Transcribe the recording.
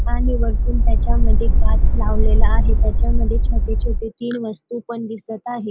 आणि वरतून त्याच्या मध्ये काच लावलेला आहे. त्याच्यामध्ये छोटे छोटे तीन पण दिसत आहे.